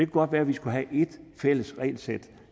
godt være at vi skulle have ét fælles regelsæt